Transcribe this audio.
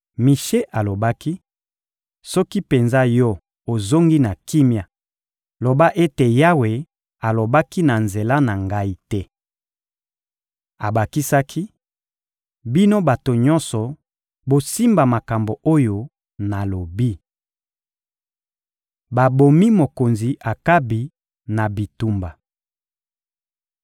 Mishe alobaki: — Soki penza yo ozongi na kimia, loba ete Yawe alobaki na nzela na ngai te! Abakisaki: — Bino bato nyonso, bosimba makambo oyo nalobi! Babomi mokonzi Akabi na bitumba (1Ba 22.29-36)